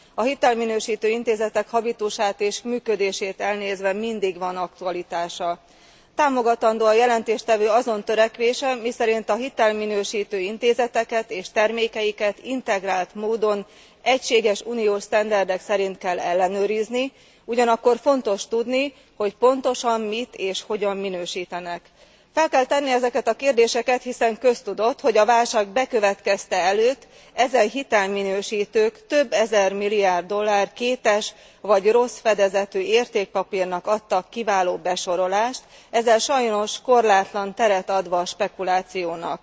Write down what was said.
A hitelminősítő intézetek habitusát és működését elnézve mindig van aktualitása. Támogatandó a jelentéstevő azon törekvése, miszerint a hitelminősítő intézeteket és termékeiket integrált módon, egységes uniós standardok szerint kell ellenőrizni, ugyanakkor fontos tudni, hogy pontosan mit és hogyan minősítenek. Fel kell tenni ezeket a kérdéseket, hiszen köztudott, hogy a válság bekövetkezte előtt ezen hitelminősítők több ezermilliárd dollár kétes vagy rossz fedezetű értékpapírnak adtak kiváló besorolást, ezzel sajnos korlátlan teret adva a spekulációnak.